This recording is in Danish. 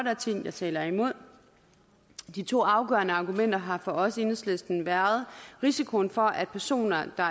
er ting der taler imod de to afgørende argumenter har for os i enhedslisten været risikoen for at personer der